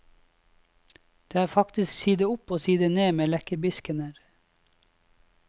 Det er faktisk side opp og side ned med lekkerbiskener.